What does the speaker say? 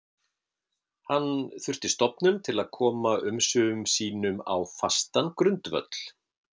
Hann þurfti stofnun til að koma umsvifum sínum á fastan grundvöll.